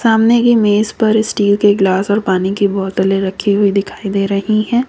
सामने की मेज पर स्टील के गिलास और पानी की बोतले रखी हुई दिखाई दे रही है।